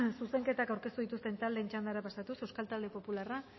zuzenketak aurkeztu dituzten taldeen txandara pasatuz euskal talde popularra